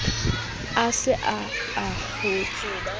a se a a kgotshe